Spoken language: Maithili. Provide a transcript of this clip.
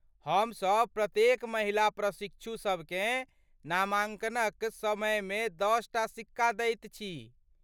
हमसब प्रत्येक महिला प्रशिक्षु सबकेँ नामाङ्कनक समयमे दशटा सिक्का दैत छी।